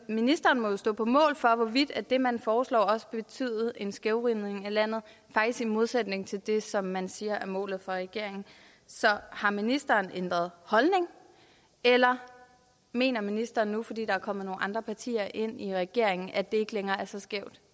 ministeren må stå på mål for hvorvidt det man foreslår også vil betyde en skævvridning af landet faktisk i modsætning til det som man siger er målet for regeringen så har ministeren ændret holdning eller mener ministeren nu fordi der er kommet nogle andre partier ind i regeringen at det ikke længere er så skævt